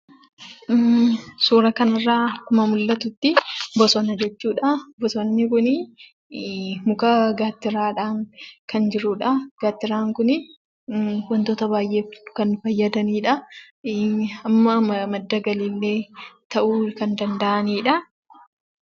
Suuraa kana irraa akkuma mul'atutti bosona jechuudha. Bosonni kun muka gaattiraadhaan kan jiruudha. Gaattiraan kun wantoota baay'eef kan nu fayyadaniidha. Madda galii illee ta'uu kan danda'aniidha.